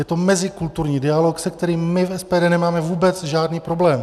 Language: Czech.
Je to mezikulturní dialog, se kterým my v SPD nemáme vůbec žádný problém.